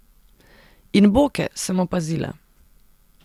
In boke, sem opazila.